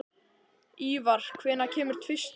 Ívar, hvenær kemur tvisturinn?